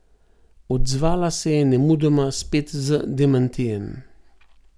Odzvala se je nemudoma, spet z demantijem.